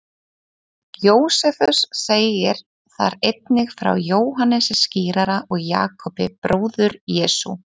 Jósefus segir þar einnig frá Jóhannesi skírara og Jakobi, bróður Jesú.